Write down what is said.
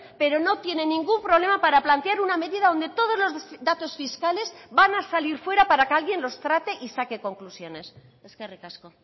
pero no tienen ningún problema para plantear una medida donde todos los datos fiscales van a salir fuera para que alguien los trate y saque conclusiones eskerrik asko